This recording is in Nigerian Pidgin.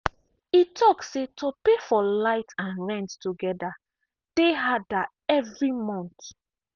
e talk say to pay for light and rent together dey harder every month.